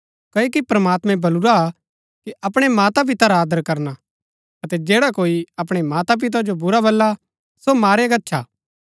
क्ओकि प्रमात्मैं बलुरा कि अपणै माता पिता रा आदर करना अतै जैडा कोई अपणै माता पिता जो बुरा बल्ला सो मारया गच्छा